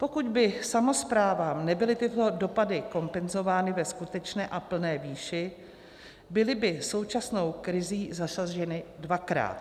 Pokud by samosprávám nebyly tyto dopady kompenzovány ve skutečné a plné výši, byly by současnou krizí zasaženy dvakrát.